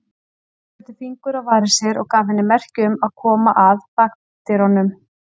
Tóti setti fingur á varir sér og gaf henni merki um að koma að bakdyrunum.